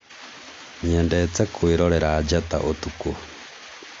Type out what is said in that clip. nyendete kwĩrorera njata ũtukũ